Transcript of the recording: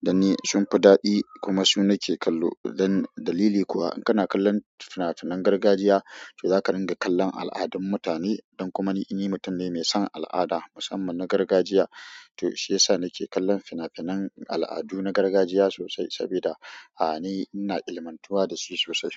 Dan ni sun fi daɗi kuma su nake kallo. Dan dalili kuwa in kana kallon fina-finan gargajiya to zaka ringa kallon al'adun mutane. Don kuma ni, ni mutum ne mai son al'ada musamman na gargajiya to shiyasa nake kallon fina-finan al'adu na gargajiya sosai sabida a'a ni ina ilmantuwa da su sosai.